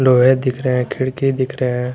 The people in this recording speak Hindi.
दिख रहे हैं खिड़की दिख रहे है।